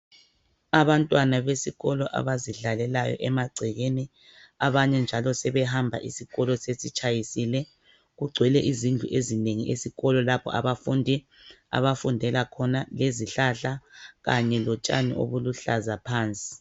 Abantwana besikolo abazidlalela emagcekeni abanye njalo sebehamba isikolo sesitshayisile. Kugcwele izindlu ezinengi esikolo lapha abafundi abafundela khona lezihlahla Kanye lotshani obuluhlaza phansi.